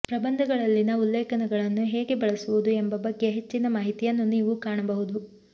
ಪ್ರಬಂಧಗಳಲ್ಲಿನ ಉಲ್ಲೇಖಗಳನ್ನು ಹೇಗೆ ಬಳಸುವುದು ಎಂಬ ಬಗ್ಗೆ ಹೆಚ್ಚಿನ ಮಾಹಿತಿಯನ್ನು ನೀವು ಕಾಣಬಹುದು